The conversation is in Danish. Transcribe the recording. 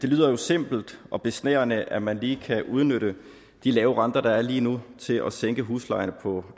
lyder jo simpelt og besnærende at man lige kan udnytte de lave renter der er lige nu til at sænke huslejerne på